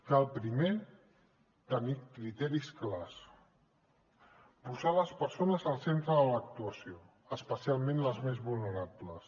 cal primer tenir criteris clars posar les persones al centre de l’actuació especialment les més vulnerables